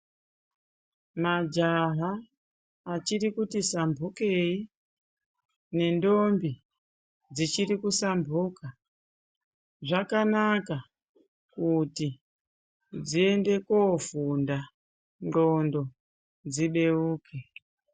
Majaha achiri kuti samphukei ,nendombi dzichiri kusamphuka, zvakanaka kuti dziende koofunda, kuti ndxondo dzibeuke.